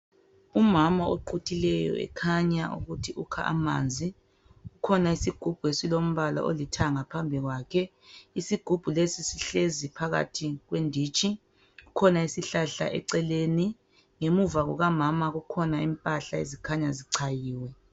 Umama oquthileyo ekhanya ukuthi ukha amanzi. Kukhona isigubhu esilombala olithanga phambi kwakhe. Isigubhu lesi sihlezi phakathi kwedintshi. Sikhona isihlahla eceleni, ngemuva kukamama zikhona imphahla zikhanya zicayiwe.